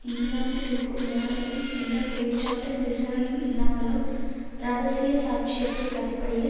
இங்கிலாந்தில் இருக்கும் எவரையும் எந்த குற்றச்சாட்டும் விசாரணையும் இல்லாமலும் இரகசியச்சாட்சியத்தின் அடிப்படையில்